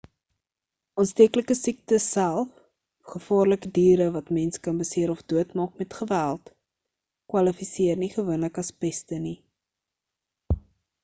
aansteeklike siektes self of gevaarlike diere wat mense kan beseer of doodmaak met geweld kwalifiseer nie gewoonlik as peste nie